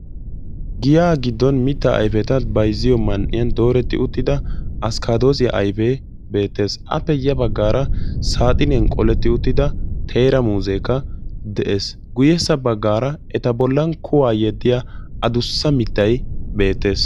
giyaa giddon mittaa ayfeta bayzziyo man''iyan dooretti uttida askkadossiya ayfee beettees. saaxiniyan qoletti uttidia muuzekka de'ees. guyyessa baggaara eta bollan kuwa yeddiya addussa mittay beettees.